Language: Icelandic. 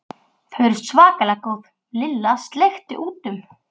Þau eru svakalega góð Lilla sleikti út um.